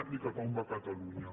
ni cap a on va catalunya